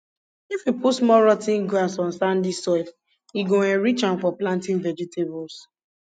if you put small rot ten grass on sandy soil e go enrich am for planting vegetables